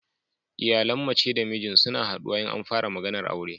Iyalan mace da mijin suna haduwa in an fara maganar aure